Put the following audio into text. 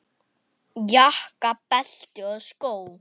Jakka, belti og skó.